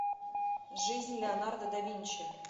жизнь леонардо да винчи